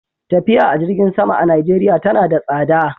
Tafiya a jirgin sama a Najeriya tana da tsada.